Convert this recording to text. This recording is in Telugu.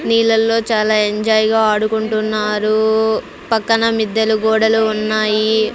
నీళ్ళల్లో చాలా ఎంజాయ్ గా ఆడుకుంటున్నారు పక్కన మిద్దెలు గోడలు ఉన్నాయి.